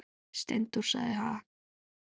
Steindór sagði: Ha?